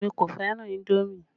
Èmi kò fẹ́ràn indomi